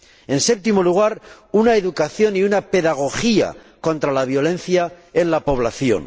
En séptimo lugar, una educación y una pedagogía contra la violencia en la población.